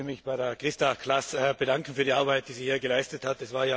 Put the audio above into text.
Ich möchte mich bei Christa Klaß bedanken für die Arbeit, die sie hier geleistet hat.